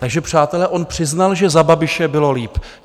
Takže přátelé, on přiznal, že za Babiše bylo líp.